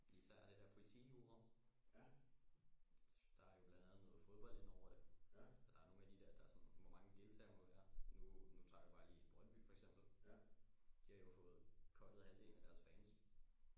Især det der politijura der er jo blandt andet noget fodbold indover det der er nogle af de der der er sådan hvor mange deltagere må der være nu tager vi bare lige Brøndby for eksempel de har jo fået cuttet havdelen af deres fans